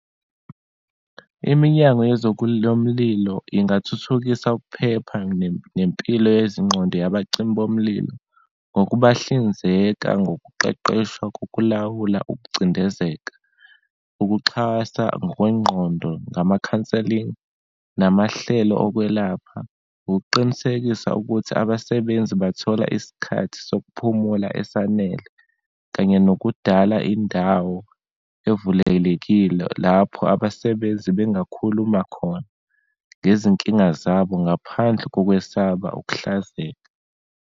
Iminyango yomlilo ingathuthukisa ukuphepha nempilo yezingqondo yabacimi bomlilo ngokubahlinzeka ngokuqeqeshwa kokulawula ukucindezeka, ukuxhasa ngokwengqondo ngama-counselling, namahlelo okwelapha, ukuqinisekisa ukuthi abasebenzi bathola isikhathi sokuphumula esanele, kanye nokudala indawo evulelekile lapho abasebenzi bengakhuluma khona ngezinkinga zabo ngaphandle kokwesaba ukuhlazeka.